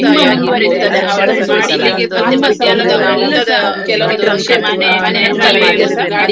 ಹೀಗೆ ನಾವು ಮತ್ತೆ ಎಲ್ಲರತ್ರಸಾ ಮಾತು ಬಿಟ್ಟದ್ದು ಎಲ್ಲಾ ಕೆಲವೊಂದು ವಿಷ್ಯ ತುಂಬಾ ನೆನಪಾಗ್ತದೆ ನಮ್ಗೆ.